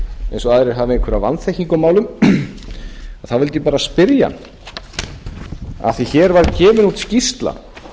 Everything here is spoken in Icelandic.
eins og aðrir hafi einhverja vanþekkingu á málum þá vildi ég bara spyrja hann af því að hér var gefin út skýrsla